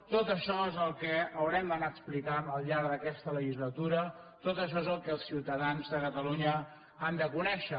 tot això és el que haurem d’anar explicant al llarg d’aquesta legislatura tot això és el que els ciutadans de catalunya han de conèixer